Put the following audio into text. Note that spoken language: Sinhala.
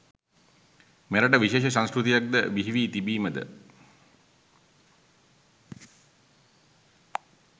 මෙරට විශේෂ සංස්කෘතියක් ද බිහිවී තිබීමද